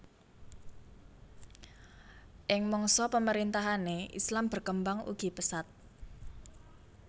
Ing Mangsa pemerintahanne Islam berkembang ugi pesat